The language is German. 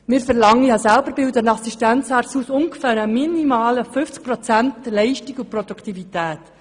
Ich bilde selber Assistenzärzte aus, und wir verlangen minimal ungefähr 50 Prozent Leistung und Produktivität.